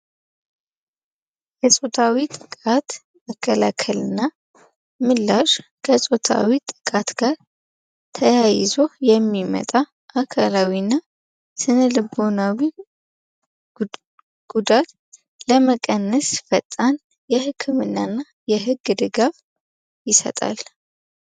የፆታዊ ጥቃት መከላከል እና ምላሽ ከፆታዊ ጥቃት ጋር ተያይዞ የሚመጣ አካላዊ እና ስነልቦናዊ ጉዳት ለመቀነስ ፈጣን የህክምና እና የህግ ድጋፍ ይሰጣል።